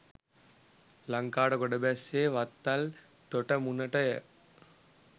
ලංකාවට ගොඩ බැස්සේ වත්තල් තොටමුණට ය.